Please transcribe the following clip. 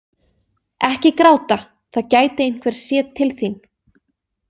Ekki gráta, það gæti einhver séð til þín.